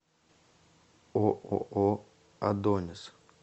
ооо адонис